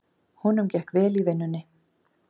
Honum gekk vel í vinnunni.